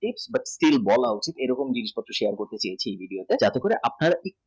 but still valid এরকম news share করতে চেয়েছি এই video তে যাতে করে